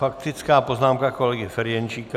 Faktická poznámka kolegy Ferjenčíka.